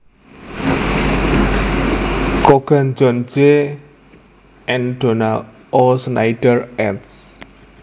Cogan John J and Donald O Schneider eds